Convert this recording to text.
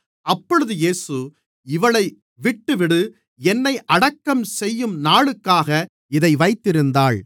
அப்பொழுது இயேசு இவளை விட்டுவிடு என்னை அடக்கம் செய்யும் நாளுக்காக இதை வைத்திருந்தாள்